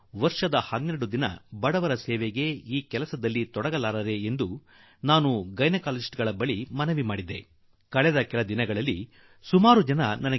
ವರ್ಷದಲ್ಲಿ 12 ದಿನ ಬಡವರಿಗಾಗಿ ಈ ಕೆಲಸ ಮಾಡಲು ನನ್ನ ವೈದ್ಯ ಸೋದರ ಸೋದರಿಯರಿಗೆ ಸಾಧ್ಯವಿಲ್ಲವೇ ಕೆಲವು ದಿನಗಳ ಹಿಂದೆ ನನಗೆ ಕೆಲವರು ಪತ್ರಗಳನ್ನು ಬರೆದಿದ್ದಾರೆ